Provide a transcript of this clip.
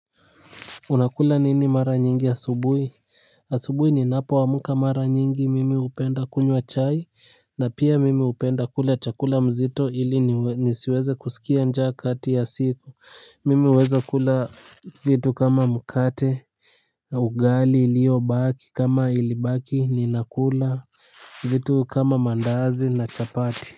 Unakula nini mara nyingi asubuhi? Asubuhi ninapoamka mara nyingi mimi hupenda kunywa chai. Na pia mimi hupenda kula chakula mzito ili nisiweze kusikia nja kati ya siku. Mimi huweza kula vitu kama mkate, ugali iliyobaki, kama ilibaki, ninakula vitu kama mandazi na chapati.